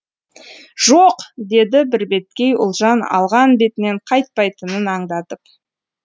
жоқ деді бірбеткей ұлжан алған бетінен қайтпайтынын аңдатып